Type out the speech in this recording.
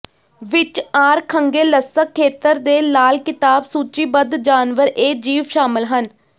ਵਿਚ Arkhangelsk ਖੇਤਰ ਦੇ ਲਾਲ ਕਿਤਾਬ ਸੂਚੀਬੱਧ ਜਾਨਵਰ ਇਹ ਜੀਵ ਸ਼ਾਮਲ ਹਨ